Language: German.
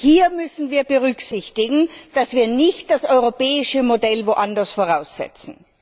Hier müssen wir berücksichtigen, dass wir nicht das europäische Modell anderswo voraussetzen.